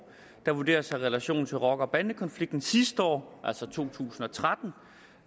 der vurderedes at have relation til rocker og bandekonflikten sidste år altså i to tusind og tretten